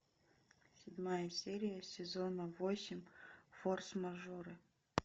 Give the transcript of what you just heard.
седьмая серия сезона восемь форс мажоры